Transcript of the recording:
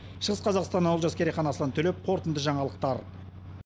шығыс қазақстаннан олжас керейхан аслан төлепов қорытынды жаңалықтар